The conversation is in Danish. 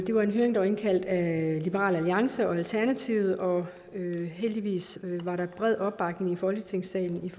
det var en høring der var indkaldt til af liberal alliance og alternativet og heldigvis var der bred opbakning i folketingssalen